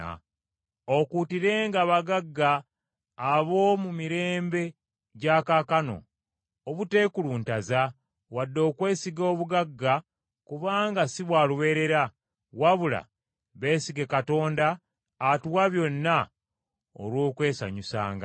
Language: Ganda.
Okuutirenga abagagga ab’omu mirembe gya kaakano, obuteekuluntaza, wadde okwesiga obugagga kubanga si bwa lubeerera, wabula beesige Katonda atuwa byonna olw’okwesanyusanga,